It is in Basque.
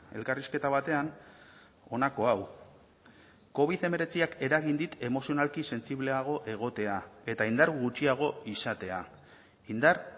elkarrizketa batean honako hau covid hemeretziak eragin dit emozionalki sentsibleago egotea eta indar gutxiago izatea indar